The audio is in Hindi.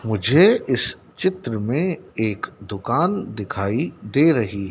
मुझे इस चित्र में एक दुकान दिखाई दे रही--